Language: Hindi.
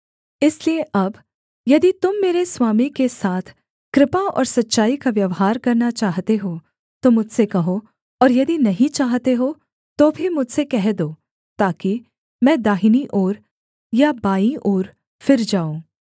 इसलिए अब यदि तुम मेरे स्वामी के साथ कृपा और सच्चाई का व्यवहार करना चाहते हो तो मुझसे कहो और यदि नहीं चाहते हो तो भी मुझसे कह दो ताकि मैं दाहिनी ओर या बाईं ओर फिर जाऊँ